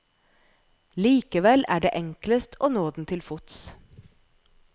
Likevel er det enklest å nå den til fots.